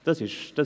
Das ist so.